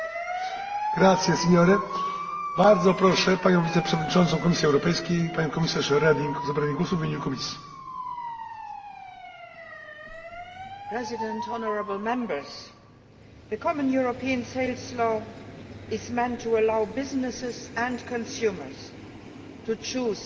Mr President, honourable Members, the Common European Sales Law is meant to allow businesses and consumers to choose a single set of contract tools